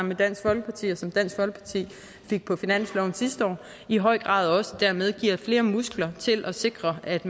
med dansk folkeparti og som dansk folkeparti fik på finansloven sidste år i høj grad også dermed giver flere muskler til at sikre at